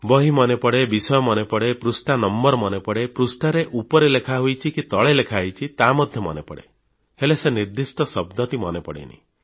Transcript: ବହି ମନେପଡ଼େ ବିଷୟ ମନେପଡ଼େ ପୃଷ୍ଠା ନମ୍ବର ମନେପଡ଼େ ପୃଷ୍ଠାର ଉପରେ ଲେଖା ହୋଇଛି କି ତଳେ ଲେଖା ହୋଇଛି ତାହା ମଧ୍ୟ ମନେପଡ଼େ ହେଲେ ସେ ନିର୍ଦ୍ଦିଷ୍ଟ ଶବ୍ଦଟି ମନେପଡ଼େନି